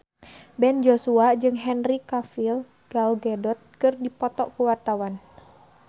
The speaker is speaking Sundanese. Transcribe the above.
Ben Joshua jeung Henry Cavill Gal Gadot keur dipoto ku wartawan